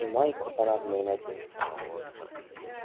и майку парадную надень